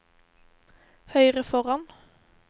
høyre foran